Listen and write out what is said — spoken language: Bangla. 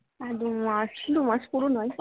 দু মাস দু মাস পুরো নয়